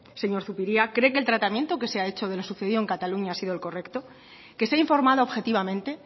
señor zupiria cree que el tratamiento que se ha hecho de los sucedido en cataluña ha sido el correcto que se ha informado objetivamente